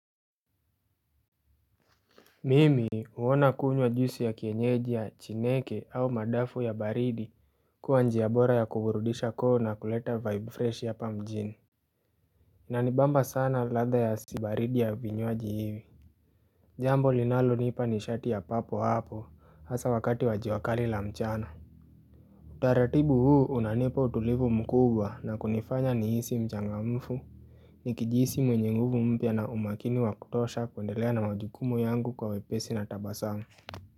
Mimi huona kunywa juisi ya kienyeji ya chineke au madafu ya baridi kuwa njia bora ya kuburudisha koo na kuleta vibe freshi hapa mjini Inanibamba sana ladha ya baridi ya vinywaji hivi jambo linalonipa nishati ya papo hapo hasa wakati wa jua kali la mchana Utaratibu huu unanipa utulivu mkubwa na kunifanya nihisi mchangamfu nikijihisi mwenye nguvu mpya na umakini wa kutosha kuendelea na majukumu yangu kwa wepesi na tabasamu.